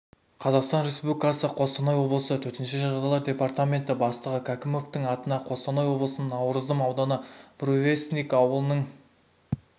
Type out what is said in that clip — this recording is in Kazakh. қазақстан республикасы қостанай облысының төтенше жағдайлар департаменті бастығы кәкімовтің атына қостанай облысының науырзым ауданы буревестник ауылының